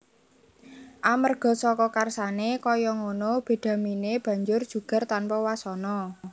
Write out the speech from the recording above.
Amerga saka karsané kaya ngono bedhaminé banjur jugar tanpa wasana